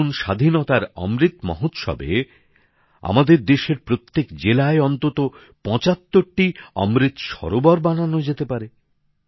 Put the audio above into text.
যেরকম স্বাধীনতার অমৃত মহোৎসবে আমাদের দেশের প্রত্যেক জেলায় অন্তত ৭৫টি অমৃত সরোবর বানানো যেতে পারে